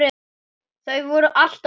Þau voru alltaf góð.